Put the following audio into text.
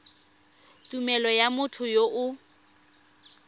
tumelelo ya motho yo o